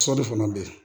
Sɔ de fana be ye